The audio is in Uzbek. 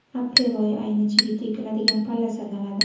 Aprel oyi ayni chigit ekiladigan palla sanaladi.